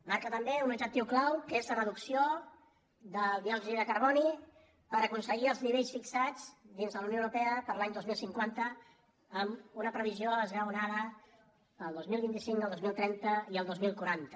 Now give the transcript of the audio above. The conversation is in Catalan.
marca també un objectiu clau que és la reducció del diòxid de carboni per aconseguir els nivells fixats dins de la unió europea per a l’any dos mil cinquanta amb una previsió esglaonada per al dos mil vint cinc el dos mil trenta i el dos mil quaranta